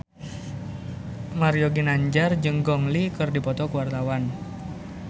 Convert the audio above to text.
Mario Ginanjar jeung Gong Li keur dipoto ku wartawan